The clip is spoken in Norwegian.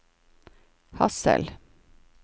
Hadsel